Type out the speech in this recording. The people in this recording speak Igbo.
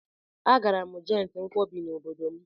Agara m na jọịntị nkwọbi n'obodo m.